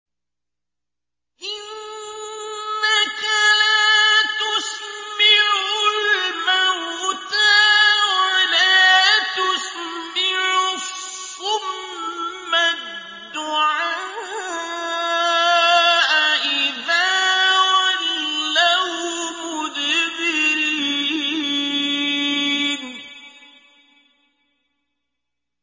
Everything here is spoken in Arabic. إِنَّكَ لَا تُسْمِعُ الْمَوْتَىٰ وَلَا تُسْمِعُ الصُّمَّ الدُّعَاءَ إِذَا وَلَّوْا مُدْبِرِينَ